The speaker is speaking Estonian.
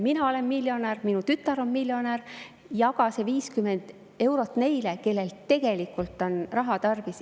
Mina olen miljonär, mu tütar on miljonär, jaga see 50 eurot neile, kellel tegelikult on raha tarvis.